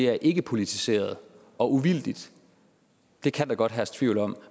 er ikkepolitiseret og uvildigt kan der godt herske tvivl om